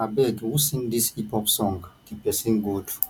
abeg who sing dis hip hop song the person good